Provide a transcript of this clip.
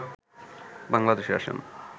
বাংলাদেশে আসেন